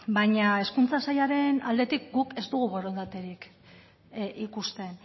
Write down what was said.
baina hezkuntza sailaren aldetik guk ez dugu borondaterik ikusten